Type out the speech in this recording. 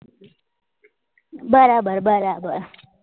બરાબર બરાબર